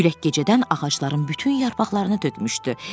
Külək gecədən ağacların bütün yarpaqlarını tökmüşdü.